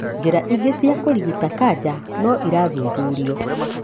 Njĩra ingĩ cia kũrigita kanca no irathuthurio.